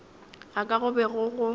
ga ka go be go